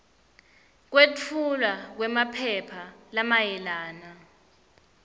kwetfulwa kwemaphepha lamayelana